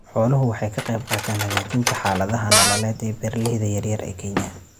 Xooluhu waxay ka qaybqaataan hagaajinta xaaladaha nololeed ee beeralayda yaryar ee Kenya.